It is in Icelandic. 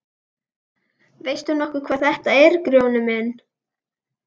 Veist þú nokkuð hvað þetta er Grjóni minn.